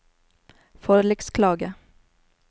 forliksklage